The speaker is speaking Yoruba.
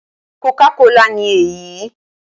Coca cola' ni èyí